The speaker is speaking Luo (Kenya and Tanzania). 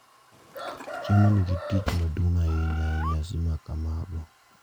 Chiemo nigi tich maduong’ ahinya e nyasi ma kamago,